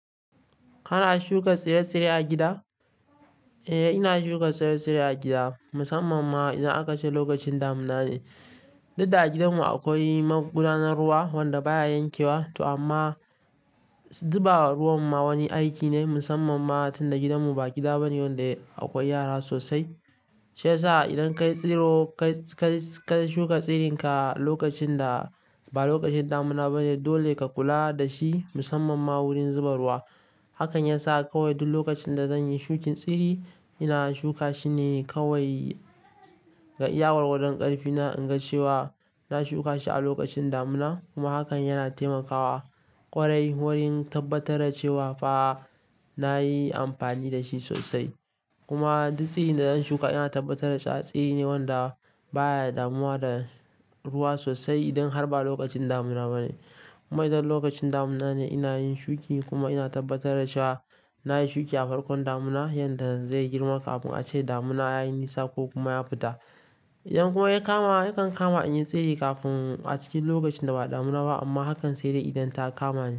Kana shuka tsire-tsire a gida? Eh, ina shuka tsire-tsire a gida musamman ma idan akace lokacin damuna ne. Duk da a gidanmu akwai magudanar ruwa wanda baya yankewa. To amma zuba wa ruwan ma wani aiki ne musamman ma tunda gidanmu ba gida bane wanda akwai yara sosai. Shiyasa idan ka yi tsiro ka shuka tsirinka lokacin da ba lokacin damuna bane dole ka kula da shi musamman ma wurin zuba ruwa. Hakan yasa kawai duk lokacin da zan yi shukin tsiri ina shuka shi ne kawai ga iya gwargadon ƙarfi na in ga cewa na shuka shi a lokacin damuna kuma hakan yana taimakawa ƙwarai wurin tabbatar da cewa fa nayi amfani da shi sosai. Kuma duk tsirin da zan shuka ina tabbatar da cewa tsira ne wanda baya damuwa da ruwa sosai idan har ba lokacin damuna bane. Kuma idan lokacin damuna ne ina yin shuki kuma ina tabbatar da cewa na yi shuki a farkon damuna yanda zai girma kafin a ce damuna ya yi nisa ko kuma ya fita. Idan kuma ya kama yakan kama in yi tsiri kafin a cikin lokacin da ba damuna ba amma hakan sai dai idan ta kama ni.